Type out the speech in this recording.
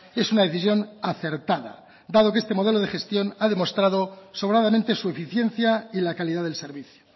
es una decisión acertada dado que este modelo de gestión ha demostrado sobradamente su eficiencia y la calidad del servicio